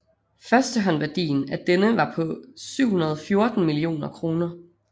Førstehåndværdien af denne var på 714 millioner kroner